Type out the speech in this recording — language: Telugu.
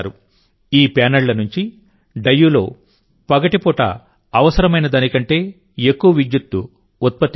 ఈ ప్యానెళ్ల నుంచి డయ్యూలో పగటిపూట అవసరమైన దానికంటే ఎక్కువ విద్యుత్తు ఉత్పత్తి అవుతోంది